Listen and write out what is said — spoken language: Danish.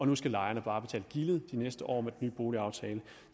nu skal lejerne bare betale gildet de næste år med den nye boligaftale